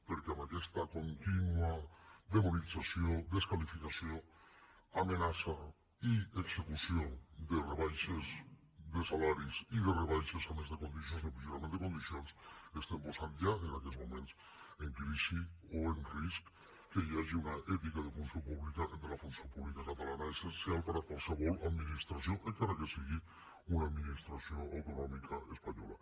perquè amb aquesta contínua demonització desqualificació amenaça i execució de rebaixes de salaris i de rebaixes a més de condicions d’empitjorament de condicions estem posant ja en aquests moments en crisi o en risc que hi hagi una ètica de funció pública entre la funció pública catalana essencial per a qualsevol administració encara que sigui una administració autonòmica espanyola